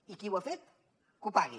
i qui ho ha fet que ho pagui